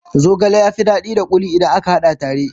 Zogale ya fi daɗi da kuli idan aka hada tare.